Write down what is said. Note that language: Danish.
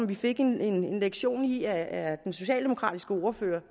vi fik en lektion i af den socialdemokratiske ordfører